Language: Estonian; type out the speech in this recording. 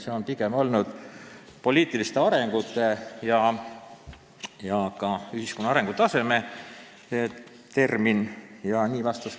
See on pigem olnud poliitiliste arengute ja ka ühiskonna arengutaseme küsimus.